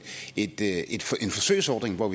forsøgsordning hvor